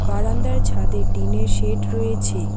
বারান্দার ছাদে টিন -এর শেড রয়েছে।